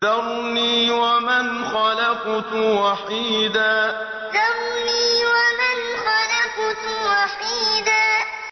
ذَرْنِي وَمَنْ خَلَقْتُ وَحِيدًا ذَرْنِي وَمَنْ خَلَقْتُ وَحِيدًا